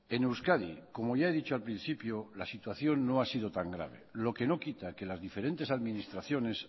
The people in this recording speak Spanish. en euskadi como ya he dicho al principio la situación no ha sido tan grave lo que no quita que las diferentes administraciones